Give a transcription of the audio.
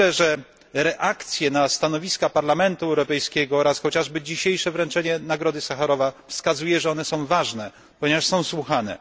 Myślę, że reakcje na stanowiska Parlamentu Europejskiego, czy chociażby dzisiejsze wręczenie Nagrody im. Sacharowa wskazuje, że są one ważne, ponieważ są słuchane.